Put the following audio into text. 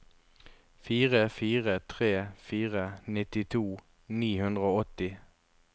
fire fire tre fire nittito ni hundre og åtti